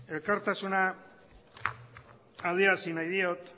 elkartasuna adierazi nahi diot